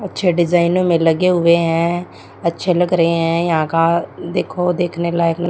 अच्छे डिजाइनों में लगे हुए हैं अच्छे लग रहे हैं यहां का देखो देखने लायक--